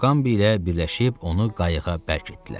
Muqambi ilə birləşib onu qayıqa bərkitdilər.